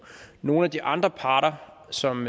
nogle af de andre parter som